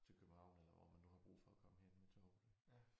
Til København eller hvor man nu har brug for at komme hen med toget